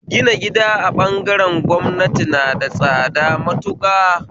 Gina gida a bangaren gwamnati na da tsada matuƙa